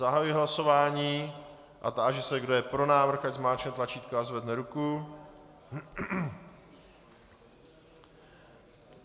Zahajuji hlasování a táži se, kdo je pro návrh, ať zmáčkne tlačítko a zvedne ruku.